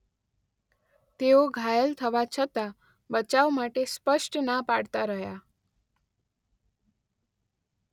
તેઓ ઘાયલ થવા છતાં બચાવ માટે સ્પષ્ટ ના પાડતા રહ્યા.